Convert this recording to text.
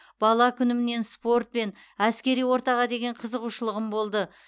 бала күнімнен спорт пен әскери ортаға деген қызығушылығым болды